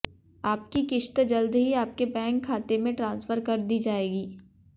आपकी किस्त जल्द ही आपके बैंक खाते में ट्रांसफर कर दी जाएगी